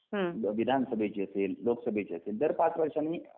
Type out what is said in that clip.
मग विधानं सभेची असेल लोकं सभेची असेल दर पाच वर्षांनी